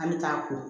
An bɛ taa ko